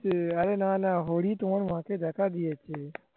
অরে না না হরি তোমার মা কে দেখা দিয়েছে